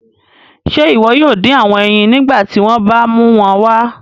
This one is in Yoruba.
Ṣe iwọ yoo din awọn eyin nigbati wọn ba mu wọn wá?